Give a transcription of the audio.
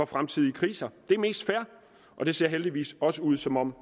fremtidige kriser det er mest fair og det ser heldigvis også ud som om